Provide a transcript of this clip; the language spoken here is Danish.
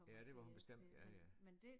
Ja det var hun bestemt ja ja